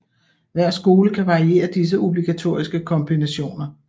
Hver skole kan variere disse obligatoriske kombinationer